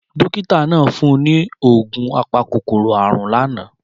Dókítà náà fún un ní oògùn apakòkòrò àrùn lánàá.